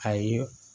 Ayi